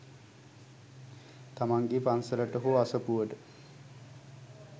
තමන්ගේ පන්සලට හෝ අසපුවට